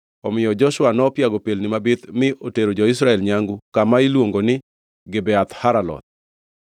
Omiyo Joshua nopiago pelni mabith mi otero jo-Israel nyangu kama iluongo ni Gibeath Haraloth.